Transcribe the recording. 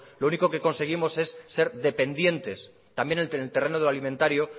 lo único que conseguimos es ser dependientes también en el terreno de lo alimentario